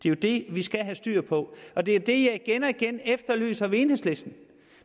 er det vi skal have styr på og det er det jeg igen og igen efterlyser hos enhedslisten